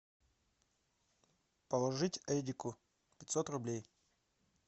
положить эдику пятьсот рублей